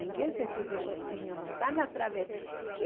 Ninguém se serve sozinho, não está na trave